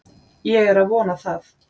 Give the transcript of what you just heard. Ég er að vona það.